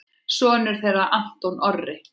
Sonur þeirra Anton Orri.